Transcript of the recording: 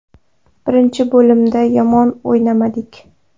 Birinchi bo‘limda yomon o‘ynamadik.